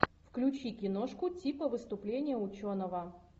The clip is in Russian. включи киношку типа выступление ученого